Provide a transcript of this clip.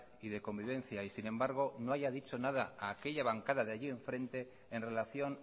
y de convivencia y sin embargo no haya dicho nada a aquella bancada de allí enfrente en relación